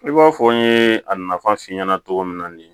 I b'a fɔ n ye a nafa f'i ɲɛna togo min na de